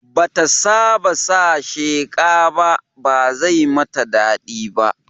Bata saba da sheqa ba, ba zai mata daɗi ba